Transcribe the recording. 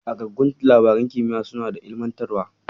Ƙagaggun labaran kimiya suna da ilimantarwa.